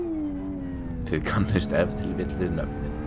þið kannist ef til vill við nöfnin?